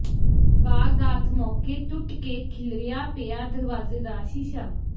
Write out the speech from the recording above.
ਵਾਰਦਾਤ ਮੌਕੇ ਟੁੱਟ ਕੇ ਖਿਲਰਿਆ ਪਿਆ ਦਰਵਾਜ਼ੇ ਦਾ ਸ਼ੀਸ਼ਾ